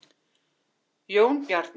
Jónbjarni, er opið í Kjötborg?